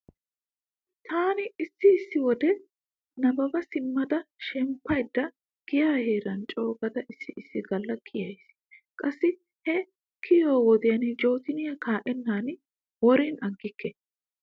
Taani issi issi wode nabbaba simmada shemppaydda giya heeri coogada issi issi galla kiyays. Qassi he kiyiyo wodiyan jootoniya kaa'ennan worin aggikke.